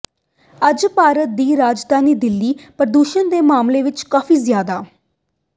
ਅੱਜ ਭਾਰਤ ਦੀ ਰਾਜਧਾਨੀ ਦਿੱਲੀ ਪ੍ਰਦੂਸ਼ਣ ਦੇ ਮਾਮਲੇ ਵਿਚ ਕਾਫ਼ੀ ਜ਼ਿਆਦਾ